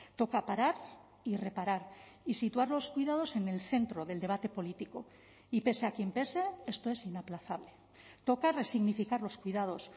toca parar y reparar y situar los cuidados en el centro del debate político y pese a quien pese esto es inaplazable toca resignificar los cuidados